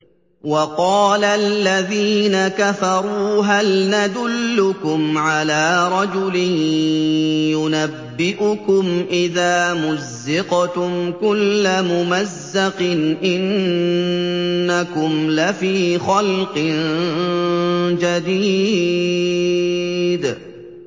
وَقَالَ الَّذِينَ كَفَرُوا هَلْ نَدُلُّكُمْ عَلَىٰ رَجُلٍ يُنَبِّئُكُمْ إِذَا مُزِّقْتُمْ كُلَّ مُمَزَّقٍ إِنَّكُمْ لَفِي خَلْقٍ جَدِيدٍ